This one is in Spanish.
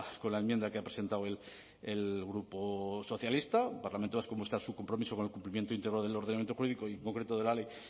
con la enmienda que ha presentado el grupo socialista el parlamento vasco muestra su compromiso con el cumplimiento íntegro del ordenamiento jurídico y en concreto de la ley